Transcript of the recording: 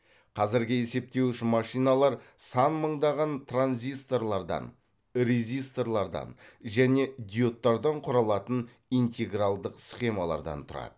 қазіргі есептеуіш машиналар сан мыңдаған транзисторлардан резисторлардан және диодтардан құралатын интегралдық схемалардан тұрады